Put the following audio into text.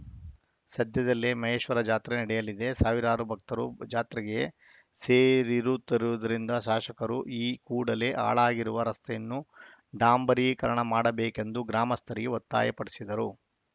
ಸದ್ಯದಲ್ಲೇ ಮಹೇಶ್ವರ ಜಾತ್ರೆ ನಡೆಯಲಿದೆ ಸಾವಿರಾರು ಭಕ್ತರು ಜಾತ್ರೆಗೆ ಸೇರಿರುತ್ತಿರುವುದರಿಂದ ಶಾಸಕರು ಈ ಕೂಡಲೇ ಹಾಳಾಗಿರುವ ರಸ್ತೆಯನ್ನು ಡಾಂಬರೀಕರಣ ಮಾಡಬೇಕೆಂದು ಗ್ರಾಮಸ್ಥರಿಗೆ ಒತ್ತಾಯಪಡಿಸಿದರು